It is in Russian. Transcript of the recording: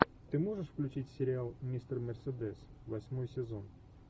ты можешь включить сериал мистер мерседес восьмой сезон